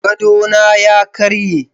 Gadona ya karye.